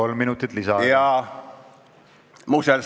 Kolm minutit lisaaega.